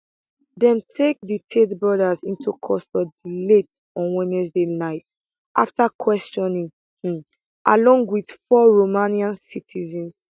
dem take di tate brothers into custody late on wednesday night afta questioning um along wit four romanian citizens